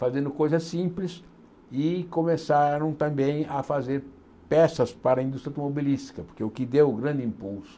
fazendo coisas simples e começaram também a fazer peças para a indústria automobilística, porque o que deu grande impulso